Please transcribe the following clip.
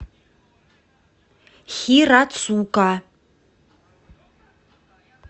хирацука